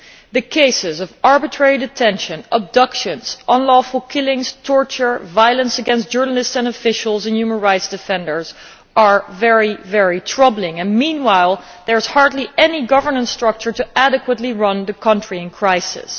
The cases of arbitrary detention, abductions, unlawful killings, torture, violence against journalists and officials and human rights defenders are very troubling, and meanwhile there is hardly any government structure to adequately run the country in crisis.